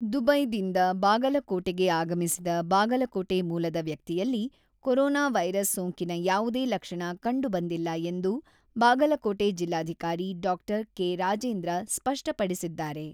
ದುಬೈದಿಂದ ಬಾಗಲಕೋಟೆಗೆ ಆಗಮಿಸಿದ ಬಾಗಲಕೋಟೆ ಮೂಲದ ವ್ಯಕ್ತಿಯಲ್ಲಿ ಕೊರೊನಾ ವೈರಸ್ ಸೋಂಕಿನ ಯಾವುದೇ ಲಕ್ಷಣ ಕಂಡು ಬಂದಿಲ್ಲ ಎಂದು ಬಾಗಲಕೋಟೆ ಜಿಲ್ಲಾಧಿಕಾರಿ ಡಾಕ್ಟರ್ ಕೆ.ರಾಜೇಂದ್ರ ಸ್ಪಷ್ಟಪಡಿಸಿದ್ದಾರೆ.